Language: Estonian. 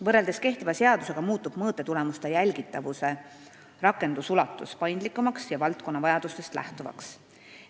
Võrreldes kehtiva seadusega muutub mõõtetulemuste jälgitavuse nõuete rakendamine paindlikumaks ja valdkonna vajadustest lähtuvaks.